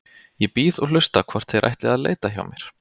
Ég bíð og hlusta hvort þeir ætli að leita hjá mér.